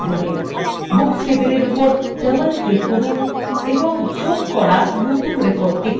books table উপর double click করুন এবং যোগ করা নতুন record খুঁজুন